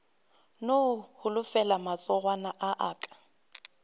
no holofela matsogwana a aka